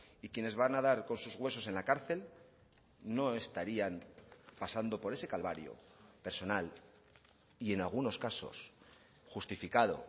y quienes van a dar con sus huesos en la cárcel no estarían pasando por ese calvario personal y en algunos casos justificado